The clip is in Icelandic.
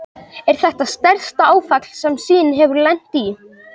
Er þetta stærsta áfall sem Sýn hefur lent í?